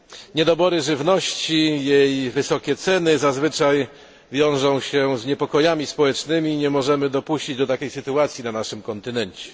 Niedobory żywności i jej wysokie ceny zazwyczaj wiążą się z niepokojami społecznymi i nie możemy dopuścić do takiej sytuacji na naszym kontynencie.